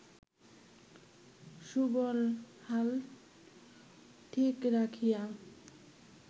সুবল হাল ঠিক রাখিয়া